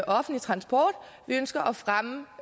offentlig transport vi ønsker at fremme